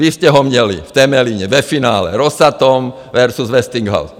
Vy jste ho měli v Temelíně, ve finále Rosatom versus Westinghouse.